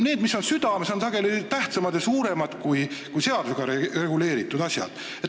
Need, mis on südames, on sageli tähtsamad ja suuremad kui seadusega reguleeritud asjad.